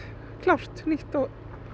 klárt nýtt og